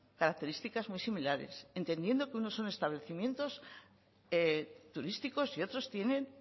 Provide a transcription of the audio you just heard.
características muy similares entendiendo que unos son establecimientos turísticos y otros tienen